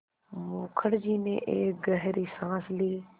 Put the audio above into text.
मुखर्जी ने एक गहरी साँस ली